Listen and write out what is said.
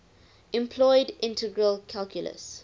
employed integral calculus